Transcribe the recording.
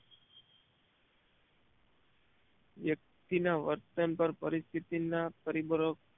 વ્યક્તિ ના વર્તન પર પરિસ્થિતિ ના પરિબળો